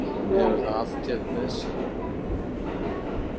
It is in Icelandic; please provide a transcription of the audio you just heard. Hún hefur það alltént með sér